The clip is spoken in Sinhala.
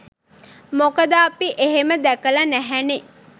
මොකද අපි එහෙම දැකල නැහැනේ